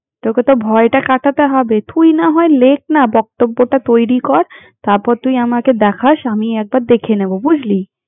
তোকে তো ভয়টা কাটাতে হবে, তুই না হয় লেখ না! বক্তব্যটা তৈরি কর। তারপর তুই আমাকে দেখাস, আমি একবার দেখে নেব বুঝলি?